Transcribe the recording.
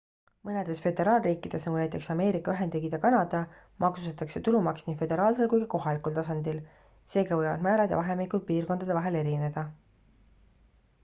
mõnedes föderaalriikides nagu näiteks ameerika ühendriigid ja kanada maksustatakse tulumaks nii föderaalsel kui ka kohalikul tasandil seega võivad määrad ja vahemikud piirkondade vahel erineda